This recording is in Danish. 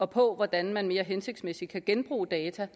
på hvordan man mere hensigtsmæssigt kan genbruge data